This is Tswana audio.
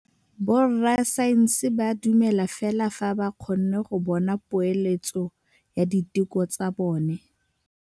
Borra saense ba dumela fela fa ba kgonne go bona poeletsô ya diteko tsa bone.